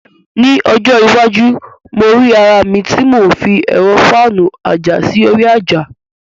Ní ọjọ́ iwájú, mo rí ara mi tí mò ń fi ẹ̀rọ fáànù àjà sí orí àjà.